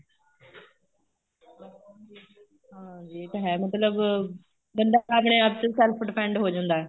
ਹਾਂਜੀ ਇਹ ਤਾਂ ਹੈ ਮਤਲਬ ਬੰਦਾ ਆਪਣੇ ਆਪ ਤੇ self depend ਹੋ ਜਾਂਦਾ ਹੈ